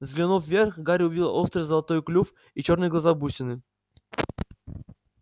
взглянув вверх гарри увидел острый золотой клюв и чёрные глаза-бусины